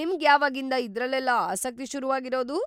ನಿಮ್ಗ್‌ ಯಾವಾಗಿಂದ ಇದ್ರಲ್ಲೆಲ್ಲ ಆಸಕ್ತಿ ಶುರುವಾಗಿರೋದು?